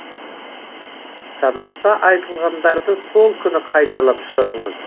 сабақта айтылғандарды сол күні қайталап шығыңыз